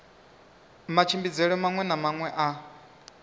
matshimbidzelwe maṅwe na maṅwe a